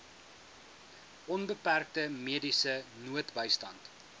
onbeperkte mediese noodbystand